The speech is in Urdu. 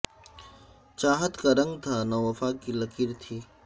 چاہت کا رنگ تھا نہ وفا کی لکیر تھی